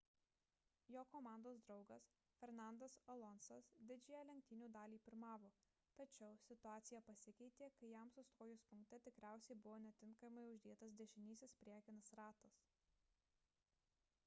jo komandos draugas fernandas alonsas didžiąją lenktynių dalį pirmavo tačiau situacija pasikeitė kai jam sustojus punkte tikriausiai buvo netinkamai uždėtas dešinysis priekinis ratas